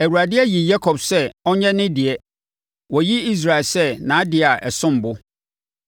Awurade ayi Yakob sɛ ɔnyɛ ne deɛ, wayi Israel sɛ nʼadeɛ a ɛsom bo.